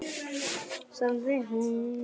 Ég spyr af hverju?